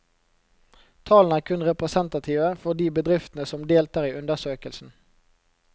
Tallene er kun representative for de bedriftene som deltar i undersøkelsen.